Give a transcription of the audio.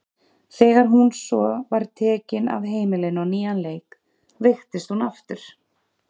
Þegar hún svo var tekin af heimilinu á nýjan leik veiktist hún aftur.